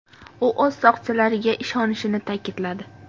U o‘z soqchilariga ishonishini ta’kidladi.